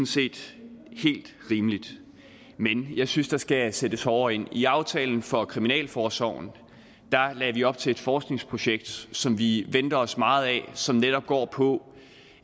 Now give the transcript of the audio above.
set helt rimeligt men jeg synes der skal sættes hårdere ind i aftalen for kriminalforsorgen lagde vi op til et forskningsprojekt som vi venter os meget af og som netop går på